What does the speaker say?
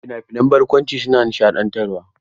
Fina-finan barkwanci su na nishaɗantarwa.